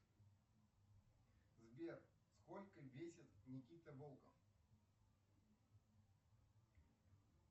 сбер сколько весит никита волков